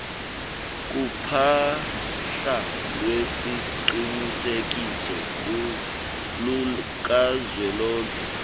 kuphahla lweziqinisekiso lukazwelonke